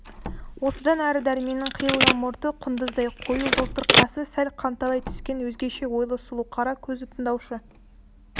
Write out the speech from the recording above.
осыдан әрі дәрменнің қиылған мұрты құндыздай қою жылтыр қасы сәл қанталай түскен өзгеше ойлы сұлу қара көзі тыңдаушы